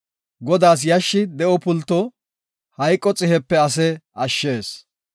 Godaa yashshi de7o pulto; hayqo xihepe ase ashshees.